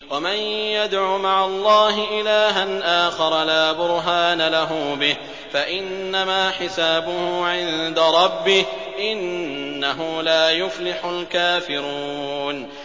وَمَن يَدْعُ مَعَ اللَّهِ إِلَٰهًا آخَرَ لَا بُرْهَانَ لَهُ بِهِ فَإِنَّمَا حِسَابُهُ عِندَ رَبِّهِ ۚ إِنَّهُ لَا يُفْلِحُ الْكَافِرُونَ